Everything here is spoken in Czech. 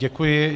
Děkuji.